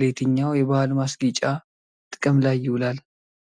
ለየትኛው የባህል ማስጌጫ ጥቅም ላይ ይውላል?